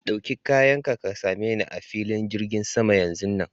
Ɗauki kayan ka, ka same ni a filin jirgin sama yanzun nan.